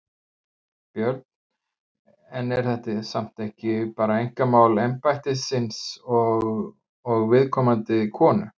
Björn: En er þetta samt ekki bara einkamál embættisins og, og viðkomandi konu?